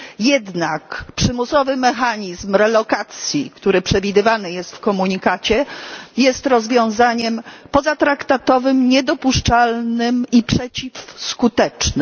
Jednak przymusowy mechanizm relokacji, który przewidywany jest w komunikacie, jest rozwiązaniem pozatraktatowym, niedopuszczalnym i przeciwskutecznym.